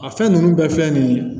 A fɛn ninnu bɛɛ filɛ nin ye